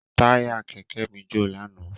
Táyà kẹ̀kẹ́ mi jò lánàá.